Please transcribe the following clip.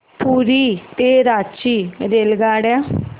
पुरी ते रांची रेल्वेगाड्या